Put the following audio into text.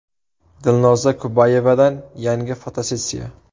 Dilnoza Kubayevadan yangi fotosessiya .